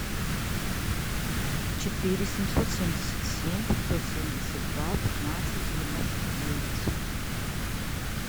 четыре семьсот семьдесят семь пятьсот семьдесят два пятнадцать девяносто девять